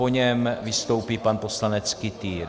Po něm vystoupí pan poslanec Kytýr.